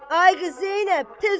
Ay qız Zeynəb, tez ol!